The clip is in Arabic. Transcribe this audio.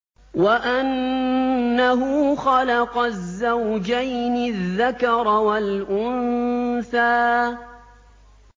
وَأَنَّهُ خَلَقَ الزَّوْجَيْنِ الذَّكَرَ وَالْأُنثَىٰ